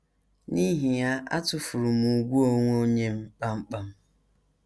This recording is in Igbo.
N’ihi ya, atụfuru m ùgwù onwe onye m kpam kpam.